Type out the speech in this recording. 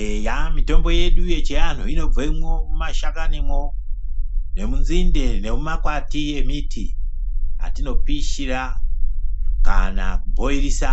Eya mitombo yedu chianhu inobvemwo mwumashakanimwo nemunzinde nemumakwati emiti atinopishira kana kuboilisa